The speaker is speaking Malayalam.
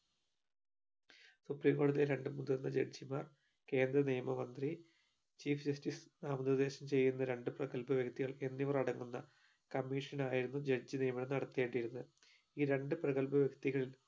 supreme കോടതിയിലെ രണ്ട് മുതിർന്ന judge മാർ കേന്ദ്ര നിയമ മന്ത്രി chief justice നാമനിർദ്ദേശം ചെയ്യുന്ന രണ്ട് പ്രഗൽഭ വ്യക്തികൾ എന്നിവർ അടങ്ങുന്ന commission ആയിരുന്നു judge നിയമനം നടത്തേണ്ടിരുന്നത് ഈ രണ്ട് പ്രഗൽഭ വ്യക്തികൾ